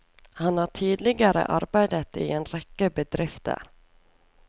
Han har tidligere arbeidet i en rekke bedrifter.